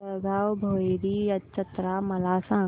जळगाव भैरी जत्रा मला सांग